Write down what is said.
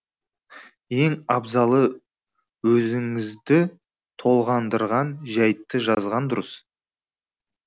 ең абзалы өзіңізді толғандырған жәйтті жазған дұрыс